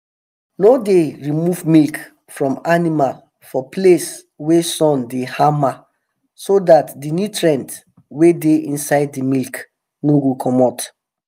no dey remove milk from animal for place wey sun dey hama so dat the nutrients wey dey inside the milk no go comot